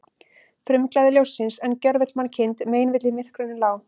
Frumglæði ljóssins, en gjörvöll mannkind meinvill í myrkrunum lá.